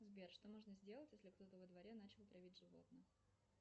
сбер что нужно сделать если кто то во дворе начал травить животных